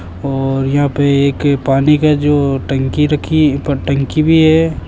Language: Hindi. और यहां पे एक पानी का जो टंकी रखी है ऊपर टंकी भी है।